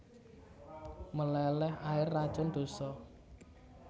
Meleleh air racun dosa